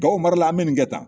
Gawo mara la an bɛ nin kɛ tan